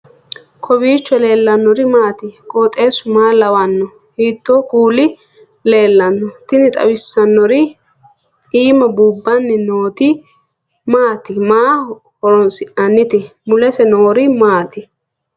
kowiicho leellannori maati ? qooxeessu maa lawaanno ? hiitoo kuuli leellanno ? tini xawissannori imma buubbanni nooti maati maaho horonsi'nannite mulese noori maati